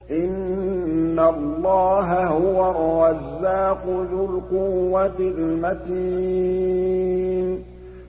إِنَّ اللَّهَ هُوَ الرَّزَّاقُ ذُو الْقُوَّةِ الْمَتِينُ